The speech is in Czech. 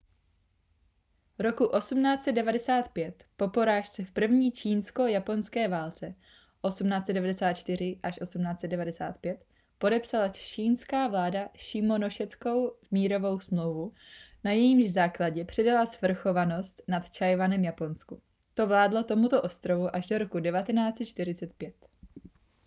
roku 1895 po porážce v první čínsko-japonské válce 1894–1895 podepsala čchingská vláda šimonoseckou mírovou smlouvu na jejímž základě předala svrchovanost nad tchaj-wanem japonsku. to vládlo tomuto ostrovu až do roku 1945